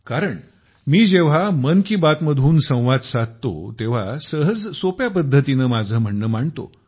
कारण मी जेव्हा मन की बात मधून संवाद साधतो तेव्हा सहज सोप्या पद्धतीने माझे म्हणणे मांडतो